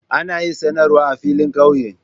Ana yin sanarwa a filin kauye.